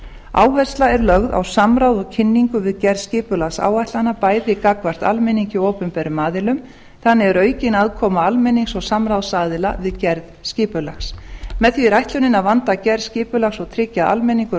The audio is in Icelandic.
áhersla er lögð á samráð og kynningu við gerð skipulagsáætlana bæði gagnvart almenningi og opinberum aðilum þannig er aukin aðkoma almennings og samráðsaðila við gerð skipulags með því er ætlunin að vanda gerð skipulags og tryggja að almenningur og